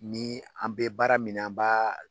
Ni an bɛ baara min na an b'a